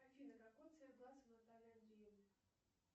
афина какой цвет глаз у натальи андреевны